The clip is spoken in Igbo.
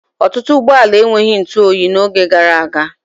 Ọtụtụ ụgbọala enweghị ntụoyi n'oge gara aga.